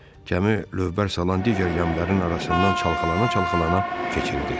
Gəmi lövbər salan digər gəmilərin arasından çalkalana-çalkalana keçirdi.